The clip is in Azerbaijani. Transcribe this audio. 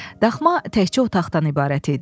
Daxma təkcə otaqdan ibarət idi.